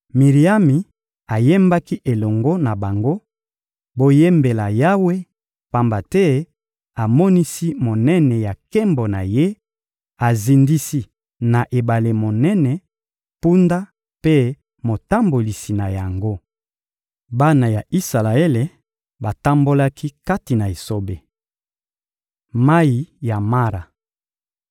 Miriami ayembaki elongo na bango: «Boyembela Yawe, pamba te amonisi monene ya nkembo na Ye; azindisi na ebale monene, mpunda mpe motambolisi na yango.» Bana ya Isalaele batambolaki kati na esobe Mayi ya Mara